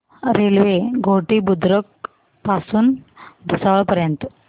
railway Ghoti Budruk पासून भुसावळ पर्यंत